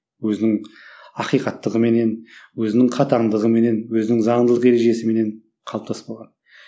өзінің ақиқаттығыменен өзінің қатаңдығыменен өзінің заңдылық ережесіменен қалыптасып қалған